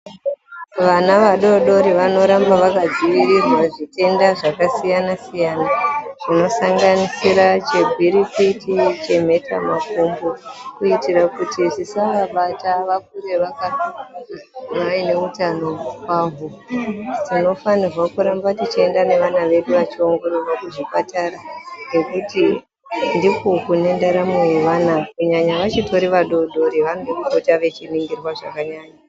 Vana vadodori vanoramba vakadzivirirwa zvitenda zvakasiyana siyana .Zvinosanganisira chegwirigwiti ,chemheta makumbo ,kuitira kuti zvisavabata vakure vainewo hutano kwaho. Tinofanirwa kuenda nevana vedu veindoongororwa kuzvipatara ngekuti ndiko kunendaramo yevana .Kunyanya vachitori vadodori ,vanoda kupota veiningirwa zvakanyanya.